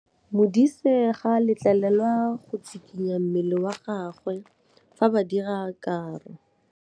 Modise ga a letlelelwa go tshikinya mmele wa gagwe fa ba dira karô.